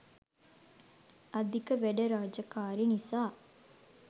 අධික වැඩ රාජකාරි නිසා